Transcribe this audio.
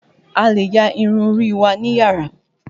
A lè ya irun orí wa níyàrá.